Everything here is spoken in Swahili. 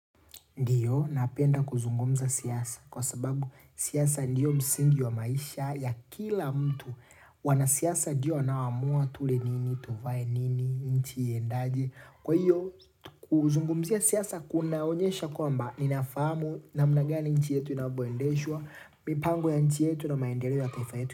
Ndiyo, napenda kuzungumza siasa kwa sababu siasa ndiyo msingi wa maisha ya kila mtu wanasiasa ndiyo wanaoamua tule nini, tuvae nini, nchi iendaje. Kwa hiyo, kuzungumzia siasa kunaonyesha kwamba, ninafahamu namna gani nchi yetu inavyoendeshwa, mipango ya nchi yetu na maendeleo ya taifa yetu.